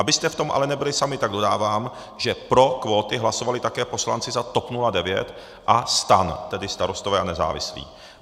Abyste v tom ale nebyli sami, tak dodávám, že pro kvóty hlasovali také poslanci za TOP 09 a STAN, tedy Starostové a nezávislí.